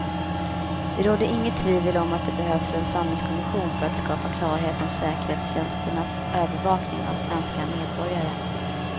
Det råder inget tvivel om att det behövs en sanningskommission för att skapa klarhet om säkerhetstjänsternas övervakning av svenska medborgare.